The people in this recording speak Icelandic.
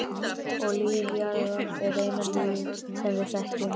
Og líf jarðar er eina lífið sem við þekkjum.